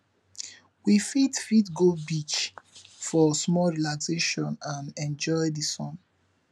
we fit fit go beach for small relaxation and enjoy the sun